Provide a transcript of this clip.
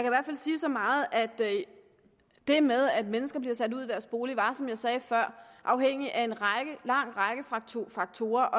i hvert fald sige så meget at det med at mennesker bliver sat ud af deres bolig er som jeg sagde før afhængig af en lang række faktorer faktorer